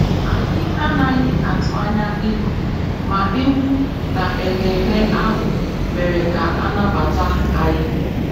Anyị anaghị atụ anya ịnọ, ma egwú na ememe ahụ mere ka a nabata anyị